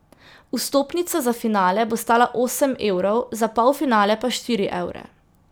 Vstopnica za finale bo stala osem evrov, za polfinale pa štiri evre.